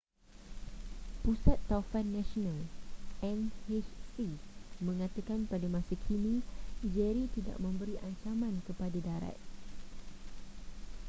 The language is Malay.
pusat taufan nasional nhc mengatakan pada masa kini jerry tidak memberi ancaman kepada darat